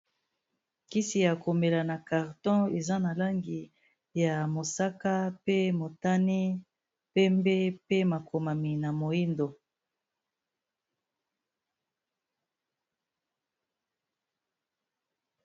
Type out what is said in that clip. kisi ya komela na carton eza na langi ya mosaka pe motane pembe pe makomami na moindo